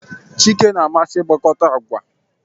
Chike na-amasị ịgwakọta agba